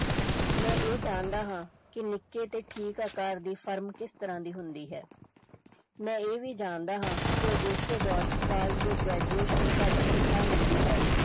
ਮੈਂ ਇਹ ਜਾਣਦਾ ਹਾਂ ਕਿ ਨਿੱਕੇ ਤੇ ਠੀਕ ਆਕਾਰ ਦੀ ਫਰਮ ਕਿਸ ਤਰ੍ਹਾਂ ਦੀ ਹੁੰਦੀ ਹੈ ਮੈਂ ਇਹ ਵੀ ਜਾਣਦਾ ਹਾਂ ਕਿ ਅਜੋਕੇ ਦੌਰ ਚ college ਦੇ graduates ਨੂੰ ਘੱਟ ਤਨਖਾਹ ਮਿਲਦੀ ਹੈ।